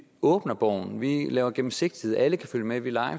åbner borgen vi laver gennemsigtighed alle kan følge med vi